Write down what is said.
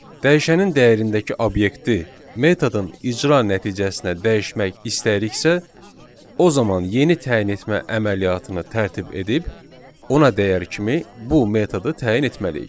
Dəyişənin dəyərindəki obyekti metodun icra nəticəsinə dəyişmək istəyiriksə, o zaman yeni təyin etmə əməliyyatını tərtib edib ona dəyər kimi bu metodu təyin etməliyik.